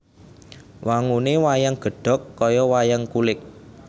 Wangune wayang gedhog kaya wayang kulit